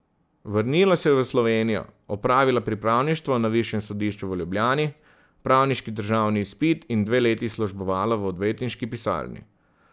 Vrnila se je v Slovenijo, opravila pripravništvo na Višjem sodišču v Ljubljani, pravniški državni izpit in dve leti službovala v odvetniški pisarni.